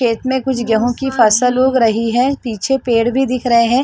खेत में कुछ गेहूं की फसल उग रही है पीछे पेड़ भी दिख रहे हैं।